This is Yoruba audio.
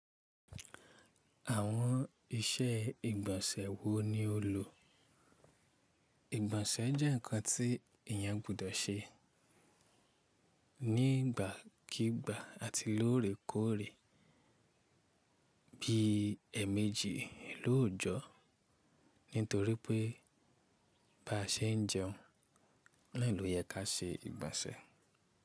Àwọn iṣẹ́ ìgbọ̀nsẹ̀ wo ni o lò? Ìgbọ̀nsẹ̀ jẹ́ nǹkan tí èyàn gbudọ̀ ṣe nígbàkígbà àti lóòrèkóòrè bí ẹ̀ẹ̀mejì lóòjọ́. Nítorí pé báa ṣe ń jẹun náà ló yẹ ká ṣe ìgbọ̀nsẹ̀